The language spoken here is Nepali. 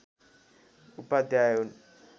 उपाध्याय हुन्